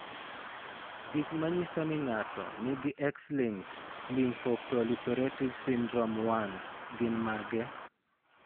Gik manyiso ni ng'ato nigi X-linked lymphoproliferative syndrome 1 gin mage?